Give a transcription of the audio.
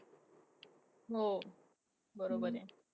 हो. बरोबर आहे.